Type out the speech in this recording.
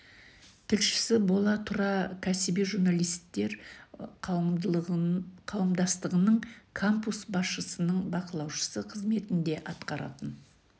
тілшісі бола тұра кәсіби журналисттер қауымдастығының кампус басшысының бақылаушысы қызметін де атқаратын